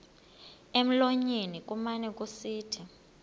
emlonyeni kumane kusithi